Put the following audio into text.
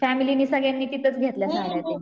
family नि सगळ्यांनी तिथंच घेतल्या साडया